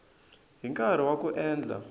hi nkarhi wa ku endla